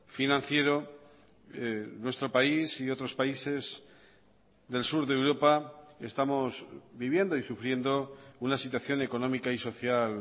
financiero nuestro país y otros países del sur de europa estamos viviendo y sufriendo una situación económica y social